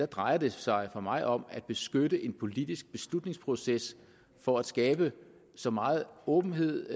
drejer det sig for mig om at beskytte en politisk beslutningsproces for at skabe så meget åbenhed